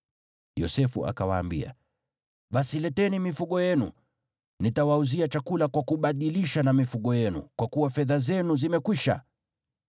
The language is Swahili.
Yosefu akawaambia, “Basi leteni mifugo yenu, nitawauzia chakula kwa kubadilisha na mifugo yenu, kwa kuwa fedha zenu zimekwisha.”